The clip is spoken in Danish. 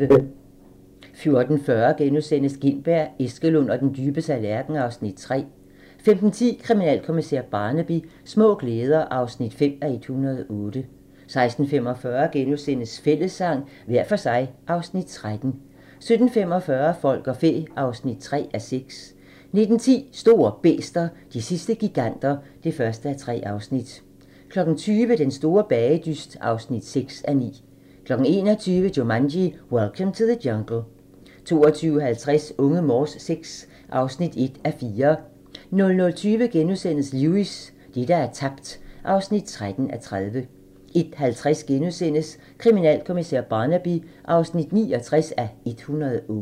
14:40: Gintberg, Eskelund og den dybe tallerken (Afs. 3)* 15:10: Kriminalkommissær Barnaby: Små glæder (5:108) 16:45: Fællessang – hver for sig (Afs. 13)* 17:45: Folk og fæ (3:6) 19:10: Store bæster - de sidste giganter (1:3) 20:00: Den store bagedyst (6:9) 21:00: Jumanji: Welcome to the Jungle 22:50: Unge Morse VI (1:4) 00:20: Lewis: Det, der er tabt (13:30)* 01:50: Kriminalkommissær Barnaby (69:108)*